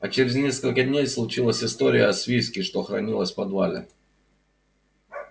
а через несколько дней случилась история с виски что хранилось в подвале